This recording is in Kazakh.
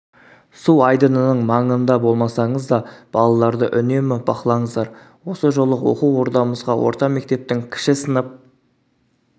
су айдынының маңыда болмасаңыз да балаларды үнемі бақылаңыздар осы жолы оқу ордамызға орта мектептің кіші сынып